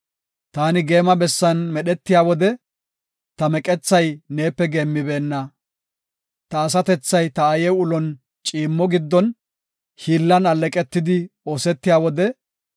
Taani geema bessan medhetiya wode, ta meqethay neepe geemmibeenna. Ta asatethay ta aaye ulon ciimmo giddon hiillan alleeqetidi oosetiya wode,